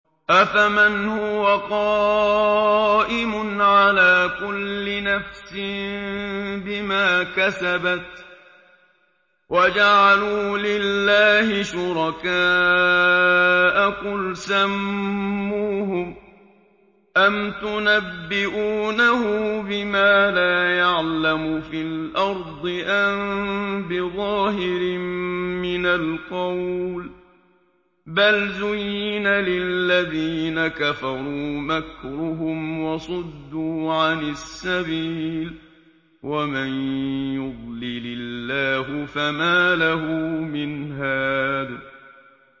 أَفَمَنْ هُوَ قَائِمٌ عَلَىٰ كُلِّ نَفْسٍ بِمَا كَسَبَتْ ۗ وَجَعَلُوا لِلَّهِ شُرَكَاءَ قُلْ سَمُّوهُمْ ۚ أَمْ تُنَبِّئُونَهُ بِمَا لَا يَعْلَمُ فِي الْأَرْضِ أَم بِظَاهِرٍ مِّنَ الْقَوْلِ ۗ بَلْ زُيِّنَ لِلَّذِينَ كَفَرُوا مَكْرُهُمْ وَصُدُّوا عَنِ السَّبِيلِ ۗ وَمَن يُضْلِلِ اللَّهُ فَمَا لَهُ مِنْ هَادٍ